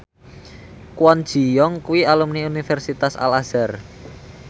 Kwon Ji Yong kuwi alumni Universitas Al Azhar